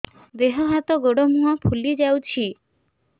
ଦେହ ହାତ ଗୋଡୋ ମୁହଁ ଫୁଲି ଯାଉଛି